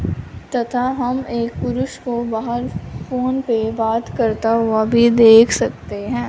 तथा हम एक पुरुष को बाहर फोन पे बात करता हुआ भी देख सकते हैं।